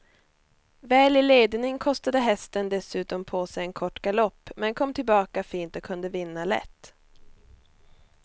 Väl i ledning kostade hästen dessutom på sig en kort galopp men kom tillbaka fint och kunde vinna lätt.